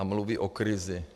A mluví o krizi.